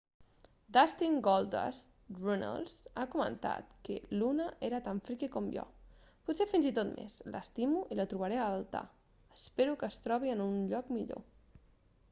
dustin goldust runnels ha comentat que luna era tan freaky com jo...pot ser fins i tot més...l'estimo i la trobaré a altar...espero que es trobi en un lloc millor.